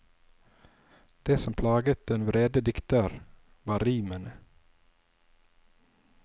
Det som plaget den vrede dikter, var rimene.